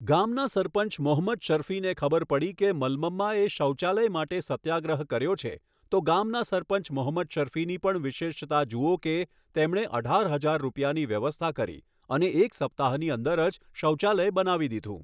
ગામના સરપંચ મોહમ્મદ શર્ફીને ખબર પડી કે મલ્મમ્માએ શૌચાલય માટે સત્યાગ્રહ કર્યો છે તો ગામના સરપંચ મોહમ્મદ શર્ફીની પણ વિશેષતા જુઓ કે તેમણે અઢાર હજાર રૂપિયાની વ્યવસ્થા કરી અને એક સપ્તાહની અંદર જ શૌચાલય બનાવી દીધું.